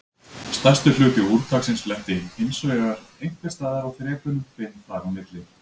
Stærstur hluti úrtaksins lenti hinsvegar einhvers staðar á þrepunum fimm þar á milli.